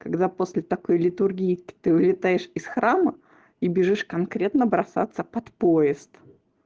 когда после такой литургии ты улетаешь из храма и бежишь конкретно бросаться под поезд